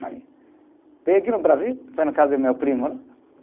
Vim aqui no Brasil, foi na casa de meu primo, né?